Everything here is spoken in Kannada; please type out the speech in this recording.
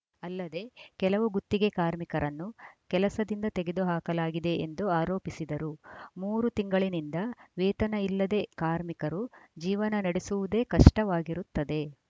ಅಲ್ಲದೆ ಕೆಲವು ಗುತ್ತಿಗೆ ಕಾರ್ಮಿಕರನ್ನು ಕೆಲಸದಿಂದ ತೆಗೆದುಹಾಕಲಾಗಿದೆ ಎಂದು ಆರೋಪಿಸಿದರು ಮೂರು ತಿಂಗಳಿನಿಂದ ವೇತನ ಇಲ್ಲದೇ ಕಾರ್ಮಿಕರು ಜೀವನ ನಡೆಸುವುದೇ ಕಷ್ಟವಾಗಿರುತ್ತದೆ